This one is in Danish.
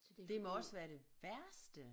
Det må også være det værste